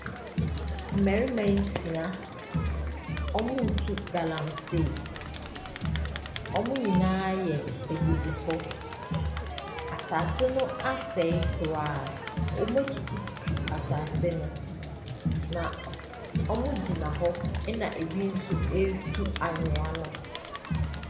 Mmarima nsia, wɔretu galamsey. Wɔn nyinaa yɛ abibifoɔ. Asase no asɛe koraa. Wɔatutututu asase no, na k wɔgyina hɔ ɛnna ebi nso retu anwea no.